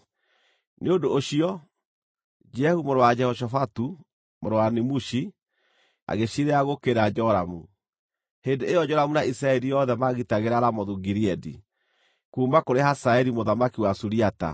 Nĩ ũndũ ũcio, Jehu mũrũ wa Jehoshafatu, mũrũ wa Nimushi, agĩciirĩra gũũkĩrĩra Joramu. (Hĩndĩ ĩyo Joramu na Isiraeli yothe maagitagĩra Ramothu-Gileadi, kuuma kũrĩ Hazaeli mũthamaki wa Suriata.